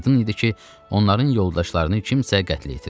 Aydın idi ki, onların yoldaşlarını kimsə qətlə yetirib.